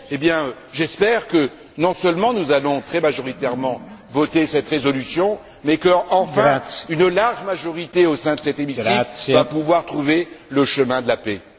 Eh bien, j'espère que, non seulement nous allons très majoritairement voter cette résolution, mais qu'enfin une large majorité au sein de cet hémicycle va pouvoir trouver le chemin de la paix.